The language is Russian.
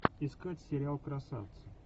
искать сериал красавцы